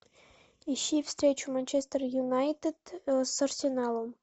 ищи встречу манчестер юнайтед с арсеналом